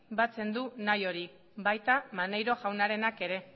batzen du nahi hori baita maneiro jaunarenak ere